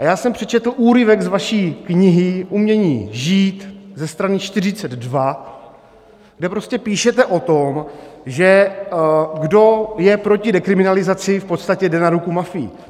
A já jsem přečetl úryvek z vaší knihy Umění žít, ze strany 42, kde prostě píšete o tom, že kdo je proti dekriminalizaci, v podstatě jde na ruku mafii.